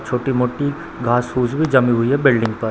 छोटी-मोटी घास-फूस भी जमी हुई है बिल्डिंग पर।